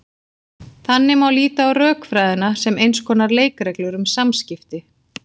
Þannig má líta á rökfræðina sem eins konar leikreglur um samskipti.